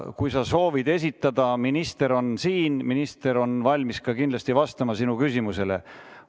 Kui sa soovid esitada, siis minister on siin, minister on kindlasti valmis ka vastama sinu küsimusele.